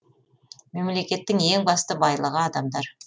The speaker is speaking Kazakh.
мемлекеттің ең басты байлығы адамдар